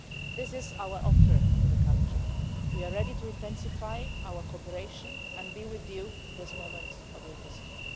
This is our offer to the country we are ready to intensify our cooperation and be with you in this moment of your history.